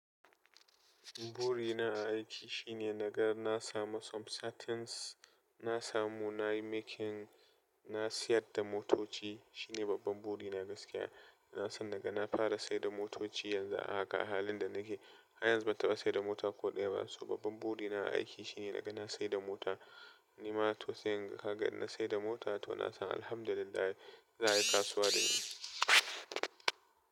Buri na aiki shine nagan na sama, some certain na samu nayi making, na sayar da motoci. Shine babban buri na gaskiya. Na san nagana fara saida motoci yanzu a haka a halin da nake. Har yanzu ban taɓa saida mota ko ɗaya ba. So babban buri na aiki shine nagana saida mota. Ni ma to sayan ka gani na saida mota to na san alhamdulillah za a yi kasuwa da ni.